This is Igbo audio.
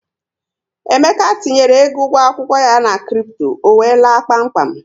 Emeka tinyere égo ụgwọ akwụkwọ ya na kripto, ọ wéé laa kpám kpám